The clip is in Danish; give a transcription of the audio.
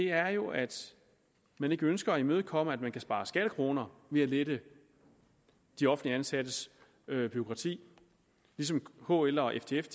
er jo at man ikke ønsker at imødekomme tanken om at man kan spare skattekroner ved at lette de offentligt ansattes bureaukrati som kl og ftf